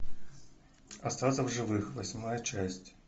остаться в живых восьмая часть